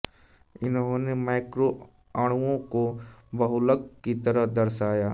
इन्होंने मैक्रो अणुओं को बहुलक की तरह दर्शाया